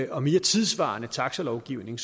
og mere tidssvarende taxalovgivning